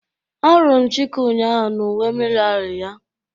A huru m Chike ụnyahụ na uwe miliary ya.